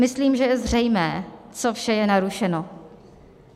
Myslím, že je zřejmé, co vše je narušeno.